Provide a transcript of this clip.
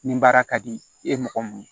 Nin baara ka di i ye mɔgɔ mun ye